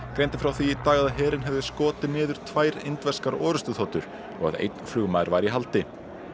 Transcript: greindi frá því í dag að herinn hefði skotið niður tvær indverskar orrustuþotur og að einn flugmaður væri í haldi